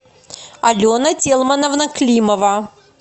алена тельмановна климова